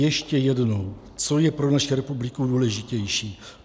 Ještě jednou: Co je pro naši republiku důležitější?